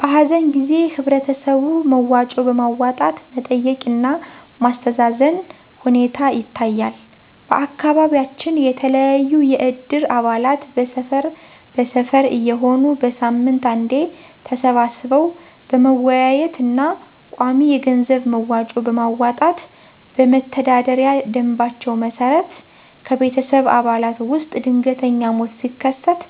በሀዘን ጊዜ ህበረተሰቡ መዋጮ በማዋጣት መጠየቅ እና ማስተዛዘን ሁኔታ ይታያል። በአካባቢያችን የተለያዩ የእድር አባላት በሰፈር በሰፈር እየሆኑ በሳምንት አንዴ ተሰባስበው በመወያየት እና ቋሚ የገንዘብ መዋጮ በማዋጣት በመተዳደሪያ ደምባቸው መሰረት ከቤተሰብ አባላት ውስጥ ድንገተኛ ሞት ሲከሰት